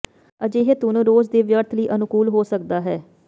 ਅਜਿਹੇ ਧੁਨ ਰੋਜ਼ ਦੀ ਵਿਅਰਥ ਲਈ ਅਨੁਕੂਲ ਹੋ ਸਕਦਾ ਹੈ